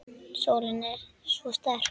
Sólin er svo sterk.